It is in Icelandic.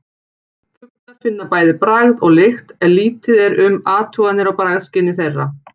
Fuglar finna bæði bragð og lykt en lítið er um athuganir á bragðskyni þeirra.